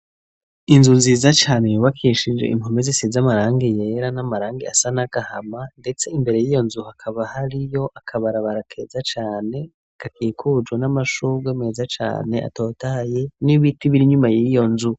Inzu nziza cane yubakishije impome z'isiz amarangi yera n'amarangi asa n'agahama, ndetse imbere y'iyo nzu hakaba hariyo akabarabara keza cane gakikujwe n'amashugwe meza cane atotaye n'ibiti bir'inyuma y'iyo nzu.